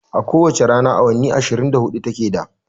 A ko wace rana awanni ashirin da hudu ta ke da